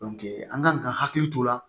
an kan ka hakili t'o la